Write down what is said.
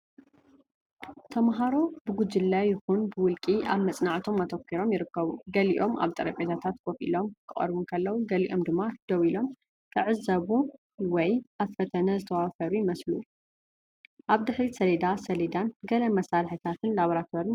ተምሃሮ ብጉጅለ ይኹን ብውልቂ ኣብ መጽናዕቶም ኣተኲሮም ይርከቡ። ገሊኦም ኣብ ጠረጴዛታት ኮፍ ኢሎም ክቐርቡ እንከለዉ፡ ገሊኦም ድማ ደው ኢሎም፡ ዝዕዘቡ ወይ ኣብ ፈተነ ዝተዋፈሩ ይመስሉ። ኣብ ድሕሪት ሰሌዳ ሰሌዳን ገለ መሳርሒታት ላቦራቶሪን ይረኣዩ።